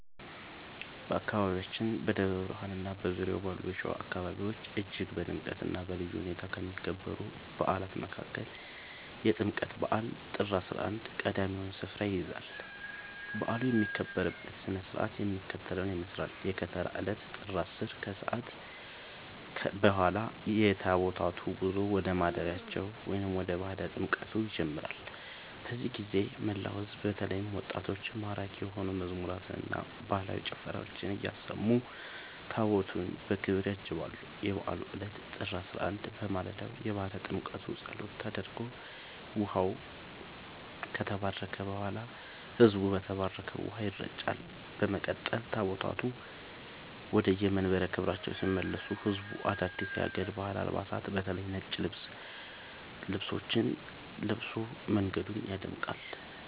በአካባቢያችን በደብረ ብርሃንና በዙሪያው ባሉ የሸዋ አካባቢዎች እጅግ በድምቀትና በልዩ ሁኔታ ከሚከበሩ በዓላት መካከል የጥምቀት በዓል (ጥር 11) ቀዳሚውን ስፍራ ይይዛል። በዓሉ የሚከበርበት ሥነ ሥርዓት የሚከተለውን ይመስላል፦ የከተራ ዕለት (ጥር 10)፦ ከሰዓት በኋላ የታቦታቱ ጉዞ ወደ ማደሪያቸው (ባሕረ ጥምቀቱ) ይጀምራል። በዚህ ጊዜ መላው ሕዝብ በተለይም ወጣቶች ማራኪ የሆኑ መዝሙራትንና ባህላዊ ጭፈራዎችን እያሰሙ ታቦታቱን በክብር ያጅባሉ። የበዓሉ ዕለት (ጥር 11)፦ በማለዳው የባሕረ ጥምቀቱ ጸሎት ተደርጎ ውኃው ከተባረከ በኋላ፣ ሕዝቡ በተባረከው ውኃ ይረጫል። በመቀጠል ታቦታቱ ወደየመንበረ ክብራቸው ሲመለሱ ሕዝቡ አዳዲስ የሀገር ባህል አልባሳትን (በተለይ ነጭ ጥልፍ ልብሶችን) ለብሶ መንገዱን ያደምቃል።